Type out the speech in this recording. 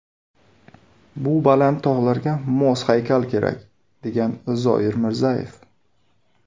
Bu baland tog‘larga mos haykal kerak”, degan Zoir Mirzayev.